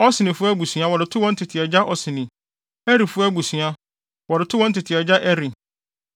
Osnifo abusua, wɔde too wɔn tete agya Osni; Erifo abusua, wɔde too wɔn tete agya Eri;